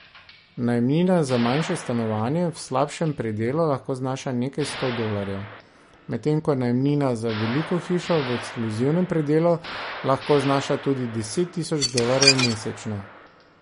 Najemnina za manjše stanovanje v slabšem predelu lahko znaša nekaj sto dolarjev, medtem ko najemnina za veliko hišo v ekskluzivnem predelu lahko znaša tudi deset tisoč dolarjev mesečno.